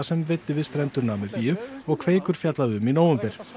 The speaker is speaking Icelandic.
sem veiddi við strendur Namibíu og Kveikur fjallaði um í nóvember